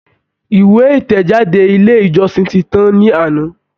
Ìwé ìtẹ̀jáde ilé ìjọsìn tí tán ní àná.